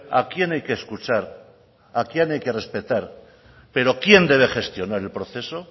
a quién hay que escuchar a quién hay que respetar pero quién debe gestionar el proceso